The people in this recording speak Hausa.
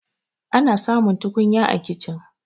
ana samun tukunya a kicin